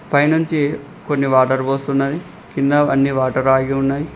పై నుంచి కొన్ని వాటర్ పోస్తున్నది కింద అన్ని వాటర్ ఆగి ఉన్నాయి.